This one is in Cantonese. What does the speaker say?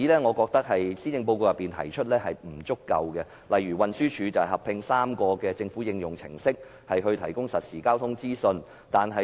我覺得，施政報告提出的例子並不足夠，例如運輸署合併3個政府應用程式，提供實時交通資訊。